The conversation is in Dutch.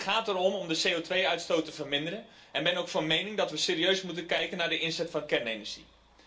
Het gaat erom de CO2 uitstoot te verminderen, en ik ben ook van mening dat we serieus moeten kijken naar de inzet van kernenergie.